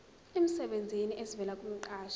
emsebenzini esivela kumqashi